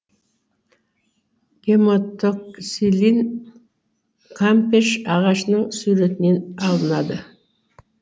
гематоксилин кампеш ағашының сүретінен алынады